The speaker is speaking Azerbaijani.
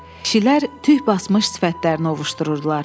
Kişilər tük basmış sifətlərini ovuclayırdılar.